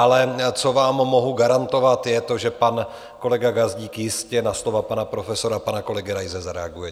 Ale co vám mohu garantovat, je to, že pan kolega Gazdík jistě na slova pana profesora, pana kolegy Raise zareaguje.